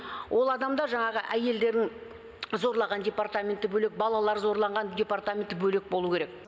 ол адамдар жаңағы әйелдерін зорлаған депатаменті бөлек балалар зорланған департаменті бөлек болу керек